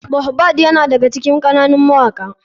Mohbad yana daga cikin ƙananun mawaka.